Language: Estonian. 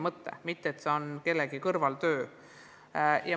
Mitte see, et viipekeele tõlkimine on vaid kellegi kõrvaltegevus.